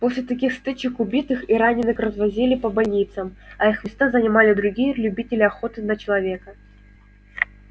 после таких стычек убитых и раненых развозили по больницам а их места занимали другие любители охоты на человека